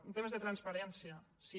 en temes de transparència sí